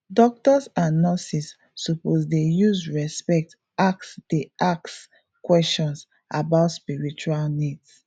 doctors and nurses suppose dey use respect ask dey ask questions about spiritual needs